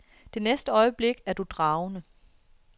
Det næste øjeblik er du dragende.